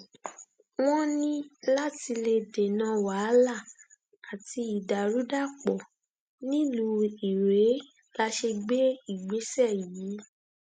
wọn ní láti lè dènà wàhálà àti ìdàrúdàpọ nílùú irèé la ṣe gbé ìgbésẹ yìí